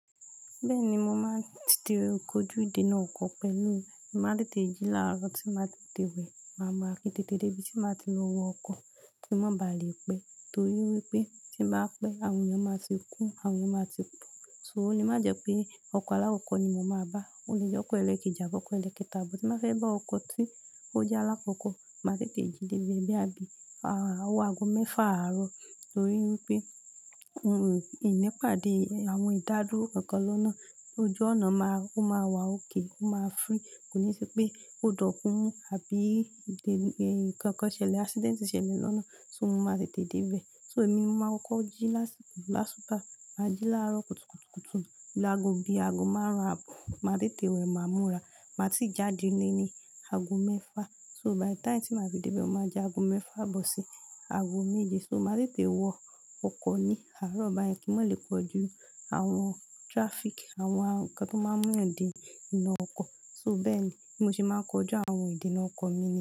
Bẹ́ẹ̀ni, mo máa ń tètè kojú ìdènà ọkọ̀ pẹ̀lú mi. Màá tètè jí láàárọ̀ tí màá tètè wẹ̀. Màá murà kí ń tètè dé ibi tí màá ti lọ wọ ọkọ̀ kí n má ba à lè pẹ́. Torí wípé tí m bà pẹ́, àwọn èèyàn máa ti kún, àwọn èèyàn máa ti pọ̀. So, ò lè má jẹ pé ọkọ̀ alakọ̀ọ́kọ́ ni mo máa bá. Ó lè jẹ́ ọkọ̀ ẹlẹ́kẹ́ji, àbí ọkọ̀ ẹlẹ́kẹ́tà, but tí màá fẹ́ bá ọkọ̀ tí ó jẹ́ alákọ̀ọ́kọ́, màá tètè jí dé bí, bóyá bí owo ago mẹ́fà àárọ̀. Torí wípé ìní padà àwọn ìdádúró kankan lọ́nà ojú ọnà máa, ó máa wà ókè, ó máa free Kò ní ṣi pé holdup mún àbí nǹkan kan ṣẹlẹ̀, accident ṣẹlẹ̀ lọ́nà, so mo máa tètè dé ibẹ̀. So, èmi mo máa ń kọko jí lásìkò lásùbà, máa jí láàárọ̀ kùtùkùtù kùtù lágo bí i ago márùn-ún àbọ̀. Màá tètè wẹ̀, màá múra. Màá ti jáde ń lééní ago mẹ́fà. So by the time tí màá fi dé ibẹ̀, ó máa jẹ́ ago mẹ́fà abọ̀ sí ago méje. So, màá tètè wọ ọkọ̀ ní àárọ̀ báyẹn kí n má lè kojú àwọn traffic, àwọn ǹkan tó máa ń mú yán dènà ọkọ̀. So bẹ́ẹ̀ ni, bí mo se máa ń kojú àwọn ìdènà ọkọ̀ mi ní.